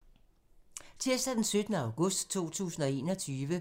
Tirsdag d. 17. august 2021